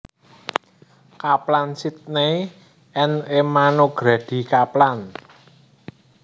Kaplan Sidney and Emma Nogrady Kaplan